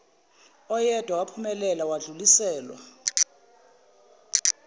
oyedwa waphumelela wadluliselwa